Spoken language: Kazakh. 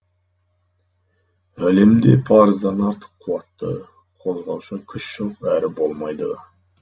әлемде парыздан артық қуатты қозғаушы күш жоқ әрі болмайды да